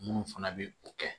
Munnu fana bɛ o kɛ